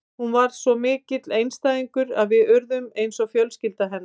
Hún var svo mikill einstæðingur og við urðum eins og fjölskylda hennar.